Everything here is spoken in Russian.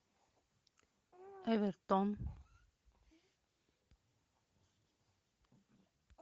эвертон